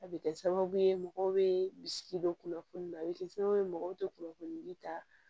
A bɛ kɛ sababu ye mɔgɔw bɛ bisigi don kunnafoni na a bɛ kɛ sababu ye mɔgɔw tɛ kunnafoni ta